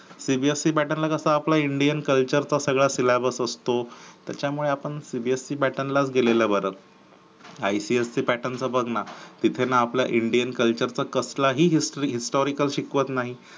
cbsc pattern ला कसं आपलं indian culture च सगळं syllabus असतो. त्याच्यामुळे आपण cbse pattern लाच गेलेलं बर ipsc pattern च बघ ना तिथे ना आपलं indian culture चा कसलाही historyhistorical शिकवत नाही.